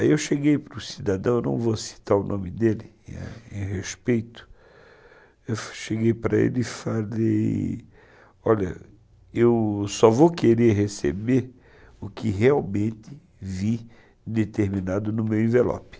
Aí eu cheguei para o cidadão, eu não vou citar o nome dele em respeito, eu cheguei para ele e falei, olha, eu só vou querer receber o que realmente vir determinado no meu envelope.